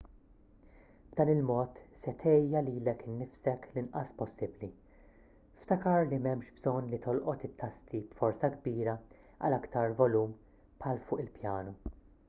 b'dan il-mod se tgħejja lilek innifsek l-inqas possibbli ftakar li m'hemmx bżonn li tolqot it-tasti b'forza kbira għal aktar volum bħal fuq il-pjanu